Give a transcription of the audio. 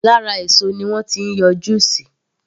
Lára èso ni wọ́n ti ń yọ juice